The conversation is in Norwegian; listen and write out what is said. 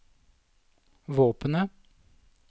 våpenet